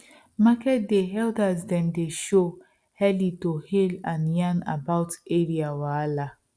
market day elder dem dey show early to hail and yarn about area wahala